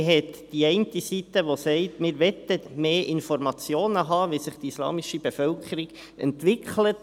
Es gibt die eine Seite, welche sagt: Wir möchten mehr Informationen darüber erhalten, wie sich die islamische Bevölkerung entwickelt.